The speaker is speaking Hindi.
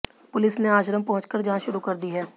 पुलिस ने आश्रम पहुंचकर जांच शुरू कर दी है